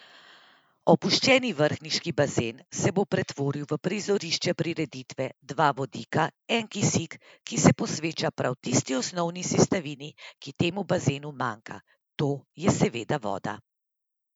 Opuščeni vrhniški bazen se bo pretvoril v prizorišče prireditve Dva vodika, en kisik, ki se posveča prav tisti osnovni sestavini, ki temu bazenu manjka, to je seveda voda.